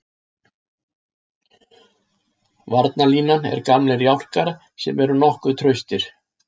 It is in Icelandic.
Varnarlínan er gamlir jálkar sem eru nokkuð traustir.